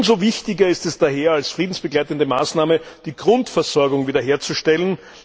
Umso wichtiger ist es daher, als friedensbegleitende Maßnahme die Grundversorgung wiederherzustellen.